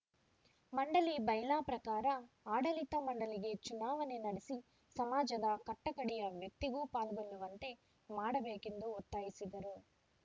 ಮಂಡಳಿ ಬೈಲಾ ಪ್ರಕಾರ ಆಡಳಿತ ಮಂಡಳಿಗೆ ಚುನಾವಣೆ ನಡೆಸಿ ಸಮಾಜದ ಕಟ್ಟಕಡೆಯ ವ್ಯಕ್ತಿಯೂ ಪಾಲ್ಗೊಳ್ಳುವಂತೆ ಮಾಡಬೇಕೆಂದು ಒತ್ತಾಯಿಸಿದರು